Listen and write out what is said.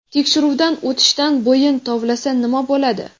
Tekshiruvdan o‘tishdan bo‘yin tovlasa nima bo‘ladi?.